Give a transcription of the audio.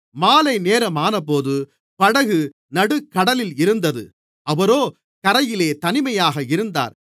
மாலைநேரமானபோது படகு நடுக்கடலில் இருந்தது அவரோ கரையிலே தனிமையாக இருந்தார்